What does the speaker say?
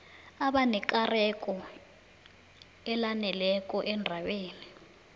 abanekareko elaneleko endabeni